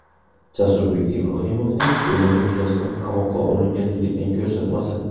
Jasurbek Ibrohimovning o‘limi yuzasidan qamoqqa olingan yigitning ko‘rsatmasi.